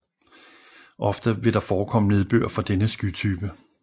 Ofte vil der forekomme nedbør fra denne skytype